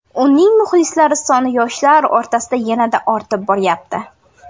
Uning muxlislari soni yoshlar o‘rtasida yanada ortib boryapti.